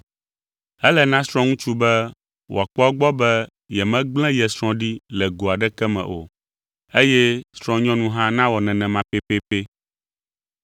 Ele na srɔ̃ŋutsu be wòakpɔ egbɔ be yemegblẽ ye srɔ̃ ɖi le go aɖeke me o, eye srɔ̃nyɔnu hã nawɔ nenema pɛpɛpɛ.